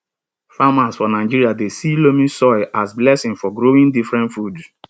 farmers for nigeria dey see loamy soil as blessing for growing different food